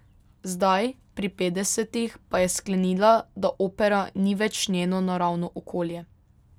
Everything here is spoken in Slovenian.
Zdaj, pri petdesetih, pa je sklenila, da opera ni več njeno naravno okolje.